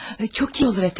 Çox iyi olur əfəndim.